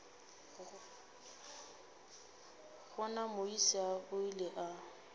gona moisa o ile a